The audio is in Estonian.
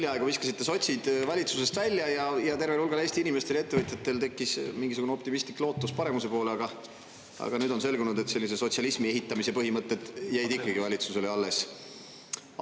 Hiljaaegu viskasite sotsid valitsusest välja ja tervel hulgal Eesti inimestel ja ettevõtjatel tekkis mingisugune optimistlik lootus paremuse poole, aga nüüd on selgunud, et sellise sotsialismi ehitamise põhimõtted jäid ikkagi valitsusele alles.